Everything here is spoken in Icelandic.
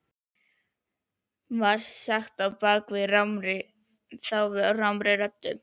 var sagt á bak við þá rámri röddu.